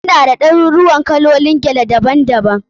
Muna da ɗaruruuwan kalolin gele daban daban.